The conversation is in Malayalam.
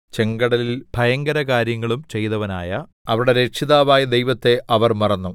ചെങ്കടലിൽ ഭയങ്കരകാര്യങ്ങളും ചെയ്തവനായ അവരുടെ രക്ഷിതാവായ ദൈവത്തെ അവർ മറന്നു